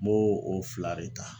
N b'o o fila de ta.